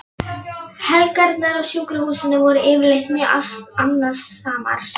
Helgarnar á sjúkrahúsinu voru yfirleitt mjög annasamar.